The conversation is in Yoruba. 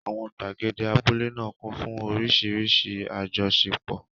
Àwọn gbàgede abúlé náà kún fún oríṣiríṣi àjọṣepọ̀.